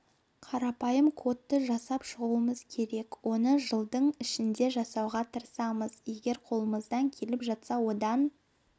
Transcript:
қарапайым кодты жасап шығуымыз керек оны жылдың ішінде жасауға тырысамыз егер қолымыздан келіп жатса одан